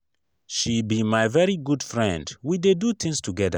she be my very good friend we dey do things together.